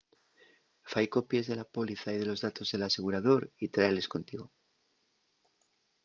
fai copies de la póliza y de los datos del asegurador y trailes contigo